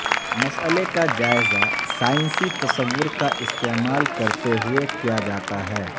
مسئلے کا جائزہ سائنسی تصور کا استعمال کرتے ہوئے کیا جاتا ہے